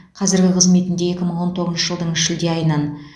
қазіргі қызметінде екі мың он тоғызыншы жылдың шілде айынан